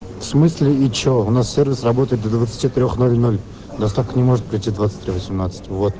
в смысле и че у нас сервис работает до двадцати трёх ноль ноль доставка не может прийти в двадцать три восемнадцать вот